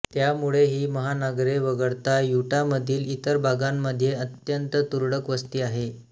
त्यामुळे ही महानगरे वगळता युटामधील इतर भागांमध्ये अत्यंत तुरळक वस्ती आहे